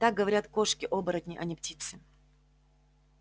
так говорят кошки-оборотни а не птицы